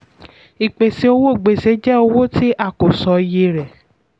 ìpèsè owó gbèsè jẹ́ owó tí a kò sọ iye rẹ̀.